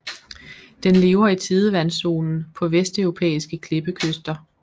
Den lever i tidevandszonen på vesteuropæiske klippekyster